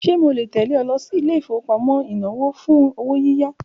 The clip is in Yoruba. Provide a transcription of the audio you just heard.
Ṣe mo le tẹle lọ sí ilé ìfowópamọ́ inawo fun owo yiya?